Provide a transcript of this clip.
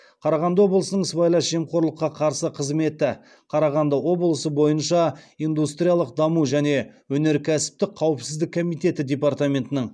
қарағанды облысының сыбайлас жемқорлыққа қарсы қызметі қарағанды облысы бойынша индустриялық даму және өнеркәсіптік қауіпсіздік комитеті департаментінің